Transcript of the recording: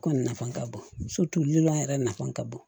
Kɔni nafa ka bon lilɔn yɛrɛ nafa ka bon